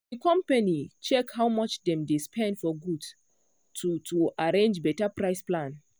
the company check how much dem dey spend for goods to to arrange better price plan.